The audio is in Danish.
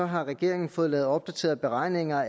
har regeringen fået lavet opdaterede beregninger